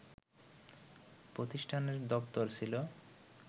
প্রতিষ্ঠানের দপ্তর ছিল